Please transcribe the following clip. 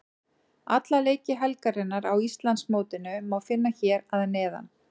Alla leiki helgarinnar á Íslandsmótinu má finna hér að neðan.